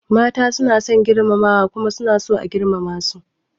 Mata suna son girmamawa kuma suna so a girmama su.